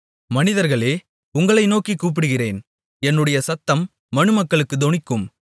மனிதர்களே உங்களை நோக்கிக் கூப்பிடுகிறேன் என்னுடைய சத்தம் மனுமக்களுக்குத் தொனிக்கும்